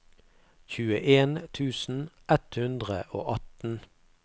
tjueen tusen ett hundre og atten